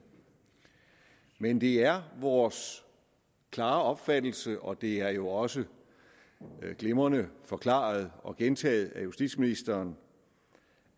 men det er vores klare opfattelse og det er jo også glimrende forklaret og gentaget af justitsministeren